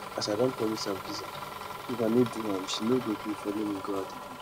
as i don promise am pizza if i no do am she no go gree follow me go out again